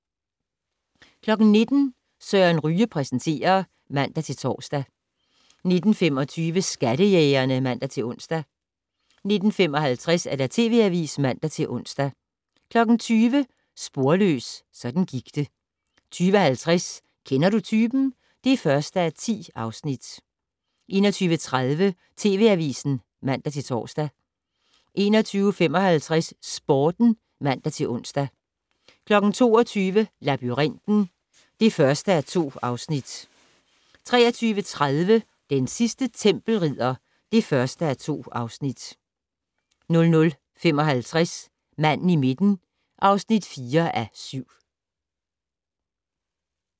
19:00: Søren Ryge præsenterer (man-tor) 19:25: Skattejægerne (man-ons) 19:55: TV Avisen (man-ons) 20:00: Sporløs - sådan gik det 20:50: Kender du typen? (1:10) 21:30: TV Avisen (man-tor) 21:55: Sporten (man-ons) 22:00: Labyrinten (1:2) 23:30: Den sidste tempelridder (1:2) 00:55: Manden i midten (4:7)